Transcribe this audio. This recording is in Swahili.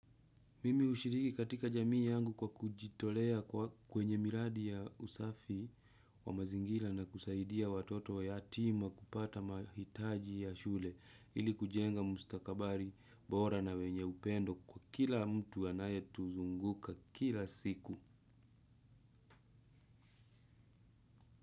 Mimi hushiriki katika jamii yangu kwa kujitolea kwenye miradi ya usafi wa mazingila na kusaidia watoto wa yatima kupata mahitaji ya shule ili kujenga mustakabari bora na wenye upendo kwa kila mtu anaye tuzunguka kila siku.